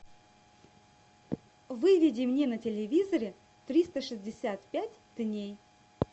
выведи мне на телевизоре триста шестьдесят пять дней